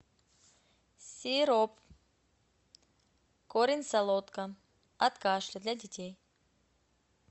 сироп корень солодка от кашля для детей